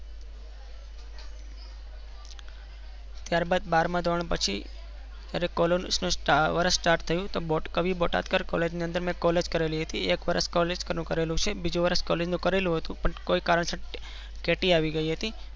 ત્યાર બાદ બાર માં ધોરણ પછી. ત્યારે college નું વર્ષ start થયું. કવિ બોટાદકર college માં મેં college કરેલિ છે. એક વર્ષ college નુ કરેલું છે બીજું વર્ષ college નુ કરેલું છે. પણ કોઈ કારણ સર ati આવી ગયી હતી.